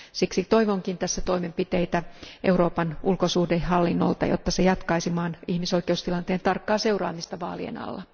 Siksi toivonkin tässä toimenpiteitä Euroopan ulkosuhdehallinnolta, jotta se jatkaisi maan ihmisoikeustilanteen tarkkaa seuraamista vaalien alla.